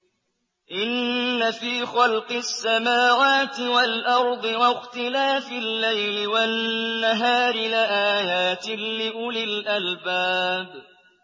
إِنَّ فِي خَلْقِ السَّمَاوَاتِ وَالْأَرْضِ وَاخْتِلَافِ اللَّيْلِ وَالنَّهَارِ لَآيَاتٍ لِّأُولِي الْأَلْبَابِ